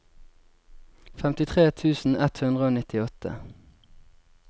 femtitre tusen ett hundre og nittiåtte